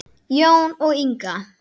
Jón og Inga.